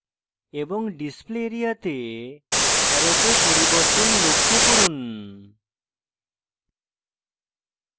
এবং display area তে অ্যারোতে পরিবর্তন লক্ষ্য করুন